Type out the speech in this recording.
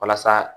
Walasa